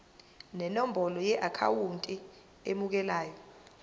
nenombolo yeakhawunti emukelayo